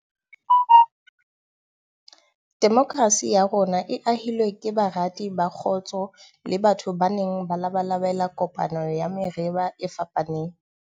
Demokrasi ya rona e ahilwe ke barati ba kgotso le batho ba neng ba labalabela kopano ya merabe e fapaneng.